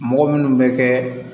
Mɔgɔ minnu bɛ kɛ